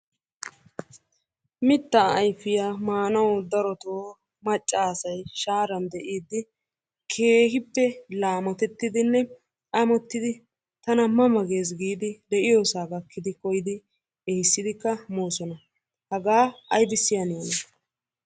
Mittaa ayfiya maanawu darottoo macca asay shaaran deiidi keehippe laamotettiddinne amottidi tana ma ma gees giidi de'iyosaa gakkidi koyidi ehiissidikka moosona. Hagaa aybissi haniyona?